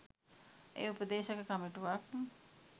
එය උපදේශක කමිටුවක්